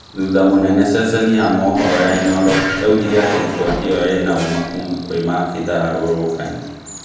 Thutha munene ceceni ya mũhũro ya inooro yaugirĩ atĩ riboti ĩyo ina ũma kuuma kwĩ maabitha arũrũngani